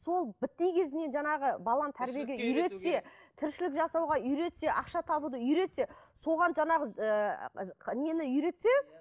сол кезінен жаңағы баланы тәрбиеге үйретсе тіршілік жасауға үйретсе ақша табуды үйретсе соған жаңағы ыыы нені үйретсе